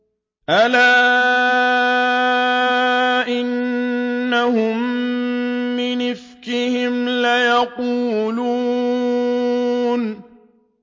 أَلَا إِنَّهُم مِّنْ إِفْكِهِمْ لَيَقُولُونَ